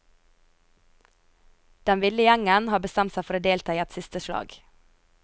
Den ville gjengen har bestemt seg for å delta i et siste slag.